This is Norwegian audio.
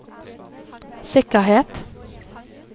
sikkerhet